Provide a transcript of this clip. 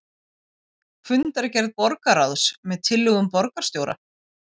Fundargerð borgarráðs með tillögum borgarstjóra